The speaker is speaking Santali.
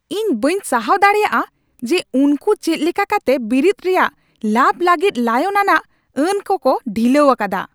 ᱤᱧ ᱵᱟᱹᱧ ᱥᱟᱦᱟᱣ ᱫᱟᱲᱮᱭᱟᱜᱼᱟ ᱡᱮ ᱩᱱᱠᱩ ᱪᱮᱫᱞᱮᱠᱟ ᱠᱟᱛᱮ ᱵᱤᱨᱤᱫ ᱨᱮᱭᱟᱜ ᱞᱟᱵᱷ ᱞᱟᱹᱜᱤᱫ ᱞᱟᱭᱚᱝ ᱟᱱᱟᱜ ᱟᱹᱱ ᱠᱚᱠᱚ ᱰᱷᱤᱞᱟᱹᱣ ᱟᱠᱟᱫᱟ ᱾